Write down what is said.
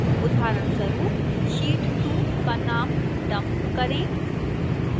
उदाहरणस्वरू sheet 2 का नाम dump करें